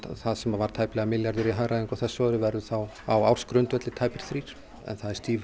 það sem var tæplega milljarður í hagræðingu á þessu ári verða þá á ársgrundvelli tæpir þrír það er stíf